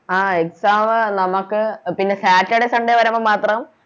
ആ Exam നമുക്ക് പിന്നെ Satudar sunday വരുമ്പോ മാത്രം